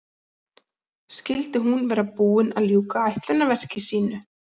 Skyldi hún vera búin að ljúka ætlunarverki sínu?